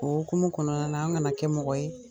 O okumun kɔnɔna an kana kɛ mɔgɔ ye.